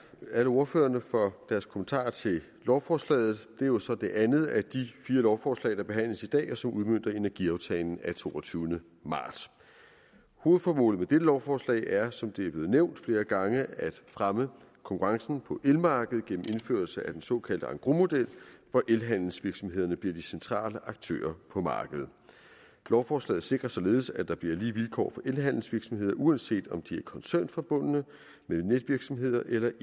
alle ordførerne for deres kommentarer til lovforslaget det er jo så det andet af de fire lovforslag der behandles i dag som udmønter energiaftalen af toogtyvende marts hovedformålet med dette lovforslag er som det er blevet nævnt flere gange at fremme konkurrencen på elmarkedet gennem indførelse af den såkaldte engrosmodel hvor elhandelsvirksomhederne bliver de centrale aktører på markedet lovforslaget sikrer således at der bliver lige vilkår for elhandelsvirksomheder uanset om de er koncernforbundne med netvirksomheder eller